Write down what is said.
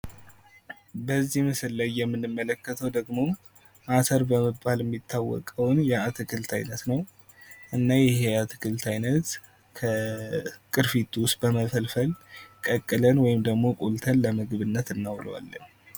በዚህ ምስል ላይ የምንመለከተው ደግሞ አተር በመባል የሚታወቀውን የአትክልት አይነት ነው። እና ይህ የአትክልት አይነት ከቅርፊቱ በመፈልፈል ቀቅለን ወይም ደግሞ ቆልተን ለምግብነት እናውለዋለን።